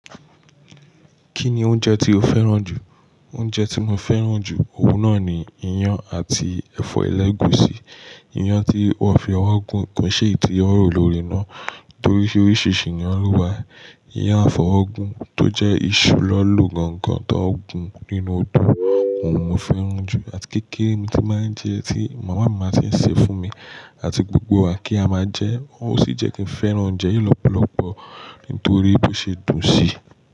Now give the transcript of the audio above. Kí ni oúnjẹ tí o fẹ́ràn jù? Oúnjẹ tí mo fẹ́ràn jù, òwú náà ni iyán àti ẹ̀fọ́ ẹlẹ́gùúsí. Iyán tí wọ́n fi ọwọ́ gùn kún ṣẹ́ẹ̀tì tí wọ́n rò lóore náà torí oríṣìíríṣìí ni ó wà. Iyán àfọ̀ ọ̀gùn tó jẹ́ iṣu lọ́ lógogán tó ń gùn nínú odò, òun mo fẹ́ràn jù àti kékeré mi tí màá ń jẹ tí màmá mi máa ti ń ṣe fún mi àti gbogbo wa kí a máa jẹ, ó sì jẹ́ kí n fẹ́ràn oúnjẹ yìí lọ́pọ̀lọpọ̀ nítorí bí ó ṣe dùn sí i.